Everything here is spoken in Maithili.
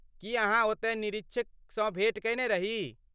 की अहाँ ओतय निरीक्षसँ भेँट कयने रही?